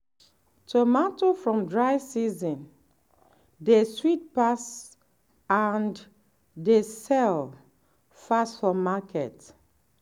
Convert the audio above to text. tomato from dry season dey sweet pass and dey sell fast for market.